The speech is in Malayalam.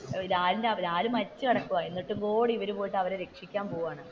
ലാലാൽ മരിച്ചുകിടക്കുവാൻ എന്നിട്ടുപോലും ഇവര്‌പോയിട്ട് അവരെ രക്ഷിക്കാൻ പോകുവാന്,